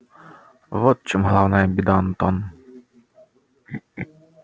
вот в чем главная беда антон